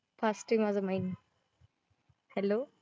हसते माझं mind Hello